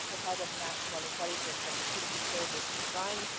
the head of National Intelligence and Security Service resigned